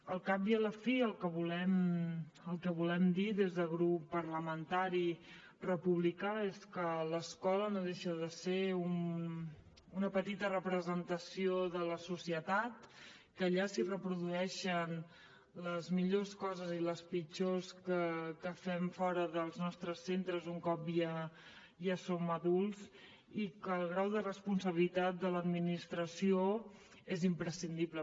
al cap i a la fi el que volem dir des del grup parlamentari republicà és que l’escola no deixa de ser una petita representació de la societat que allà es reprodueixen les millors coses i les pitjors que fem fora dels nostres centres un cop ja som adults i que el grau de responsabilitat de l’administració és imprescindible